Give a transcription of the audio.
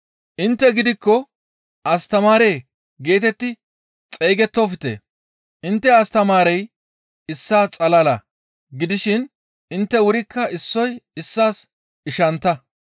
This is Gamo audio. «Intte gidikko, ‹Astamaare› geetetti xeygettofte; intte Astamaarey issaa xalala gidishin intte wurikka issoy issaas ishantta.